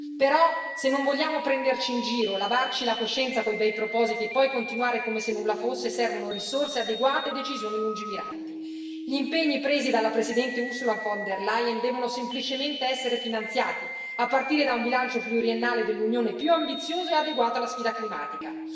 Però, se non vogliamo prenderci in giro, lavarci la coscienza con i bei propositi e poi continuare come se nulla fosse, servono risorse adeguate e decisioni lungimiranti. Gli impegni presi dalla Presidente Ursula von der Leyen devono semplicemente essere finanziati a partire da un bilancio pluriennale dell'Unione più ambizioso e adeguato alla sfida climatica.